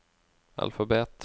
alfabet